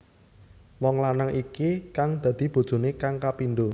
Wong lanang iki kang dadi bojoné kang kapindho